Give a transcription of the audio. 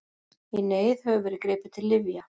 Í neyð hefur verið gripið til lyfja.